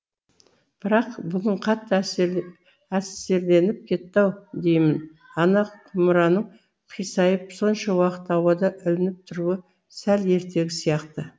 бірақ бүгін қатты әсерленіп кетті ау деймін ана құмыраның қисайып сонша уақыт ауада ілініп тұруы сәл ертегі сияқты